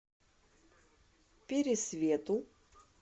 пересвету